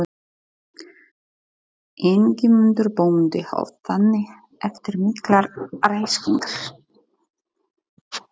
Ingimundur bóndi hóf þannig eftir miklar ræskingar